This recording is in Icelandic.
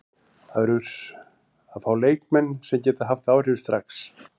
Það verður að fá leikmenn sem geta haft áhrif strax.